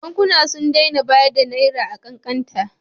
Bankuna sun daina bayar da Naira a kan kanta.